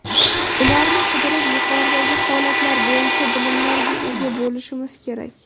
Ularni qidirib, yuqoridagi holatlar bo‘yicha bilimlarga ega bo‘lishimiz kerak.